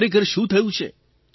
ખરેખર શું થયું છે